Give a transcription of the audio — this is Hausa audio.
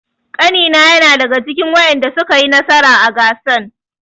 Ƙanina na daga cikin wadanda suka yi nasara a gasan.